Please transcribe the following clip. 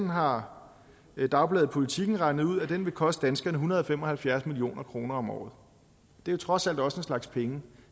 har dagbladet politiken regnet ud vil koste danskerne en hundrede og fem og halvfjerds million kroner om året det er trods alt også en slags penge